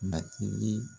Matigi